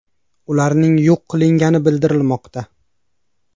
Ularning yo‘q qilingani bildirilmoqda.